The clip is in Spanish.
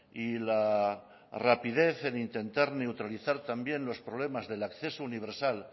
y la rapidez en intentar neutralizar también los problemas del acceso universal